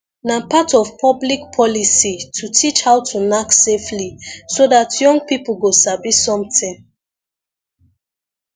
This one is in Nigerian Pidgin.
na part of public policy to teach how to knack safely so dat young people go sabi something